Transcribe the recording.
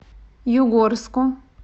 югорску